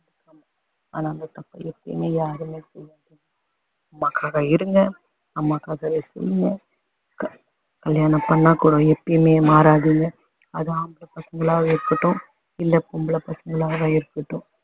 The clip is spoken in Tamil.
அம்மாக்காக இருங்க அம்மாக்காகவே செய்யுங்க கல்யாணம் பண்ணா கூட எப்பயுமே மாறாதீங்க அதுவும் ஆம்பள பசங்களாவும் இருக்கட்டும் இல்ல பொம்பளை பசங்களாவும் இருக்கட்டும்